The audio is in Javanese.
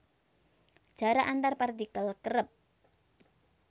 Jarak antar partikel kerep